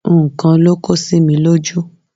Nǹkan ló kó sí mi lójú